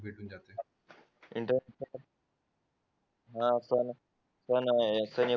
inter हा पण पण हे